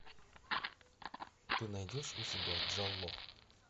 ты найдешь у себя джалло